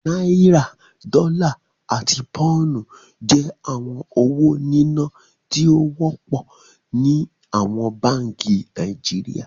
Naira, Dọla, àti Pounu jẹ̀ awọn owó níná tío wọpọ ni awọn bánkì Nàìjíríà.